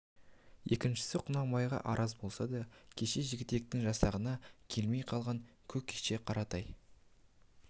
екіншісі құнанбайға араз болса да кеше жігітектің жасағына келмей қалған көкше қаратай